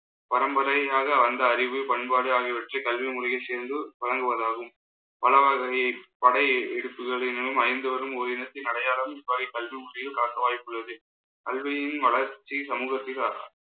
பரம்பரையாக வந்த அறிவு பண்பாடு ஆகியவற்றை கல்வி முறையில் சேர்ந்து வழங்குவதாகும். பலவகையை படை எடுப்புகளிலும்அழிந்து வரும் ஓர் இனத்தின் அடையாளம் காட்ட வாய்ப்புள்ளது கல்வியின் வளர்ச்சி சமூகத்தில் அஹ்